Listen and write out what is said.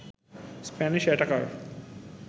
Spanish attacker